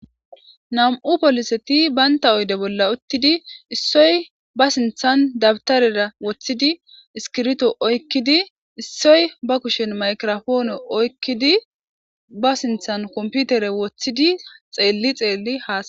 Nam7u polisethi banththa oyde bolla uththidi issoy ba sinththan dabththareda woththidi iskiritho oykkidi issoy ba kushen mikrapoone oykkidi ba sinththan komppiither woththidi xeelli xeelli haasa7ees.